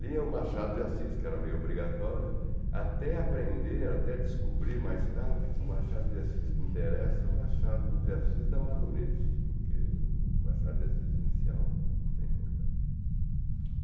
Lia o Machado de Assis, que era meio obrigatório, até aprender, até descobrir mais tarde que o Machado de Assis que interessa é o Machado de Assis da Madurez, porque o Machado de Assis inicial não não tem importância.